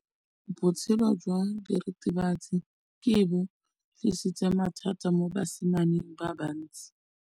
Botshelo jwa diritibatsi ke bo tlisitse mathata mo basimaneng ba bantsi.